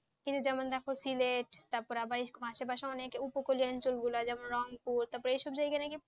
যেমন দেখো সিলেট বা পাশাপাশি অনেক উপকূলীয় অঞ্চল গুলো যেমন রংপুর তারপর এইসব জায়গা নাকি,